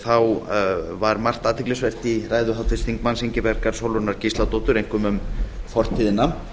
þá var margt athyglisvert í ræðu háttvirts þingmanns ingibjargar sólrúnar gísladóttur einkum um fortíðina